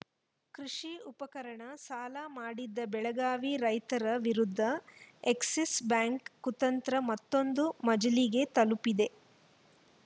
ಕೃಷಿ ಉಪಕರಣ ಸಾಲ ಮಾಡಿದ್ದ ಬೆಳಗಾವಿ ರೈತರ ವಿರುದ್ಧ ಎಕ್ಸಿಸ್‌ ಬ್ಯಾಂಕ್‌ ಕುತಂತ್ರ ಮತ್ತೊಂದು ಮಜಲಿಗೆ ತಲುಪಿದೆ